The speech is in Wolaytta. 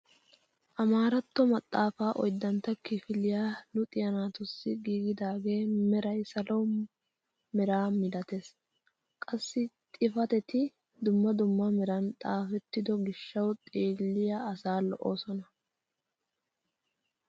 Amaaratto maxafaa oyddantto kifiliyaa luxxiyaa naatussi giigidagee meray salo meraa milatees. Qassi xifatetti dumma dumma meran xaafetto gishshawu xeelliyaa asaa lo'oosona.